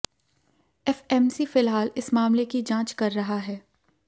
FMC फिलहाल इस मामले की जांच कर रहा है